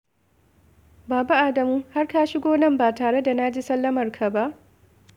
Baba Adamu, har ka shigo nan ba tare da na ji sallamarka ba?